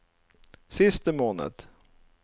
siste måned